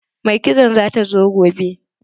Mai kitson za ta zo gobe.